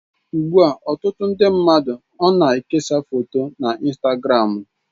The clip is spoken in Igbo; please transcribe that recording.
Ugbu a, ọtụtụ ndi mmadụ ona-ekesa foto na Instagramu.